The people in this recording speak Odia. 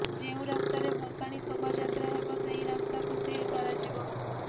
ଯେଉଁ ରାସ୍ତାରେ ଭସାଣି ଶୋଭାଯାତ୍ରା ହେବ ସେହି ରାସ୍ତାକୁ ସିଲ୍ କରାଯିବ